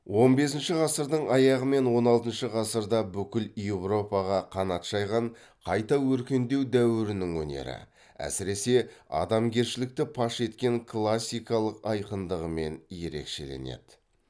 он бесінші ғасырдың аяғы мен он алтыншы ғасырда бүкіл еуропаға қанат жайған қайта өркендеу дәуірінің өнері әсіресе адамгершілікті паш еткен классикалық айқындығымен ерекшеленеді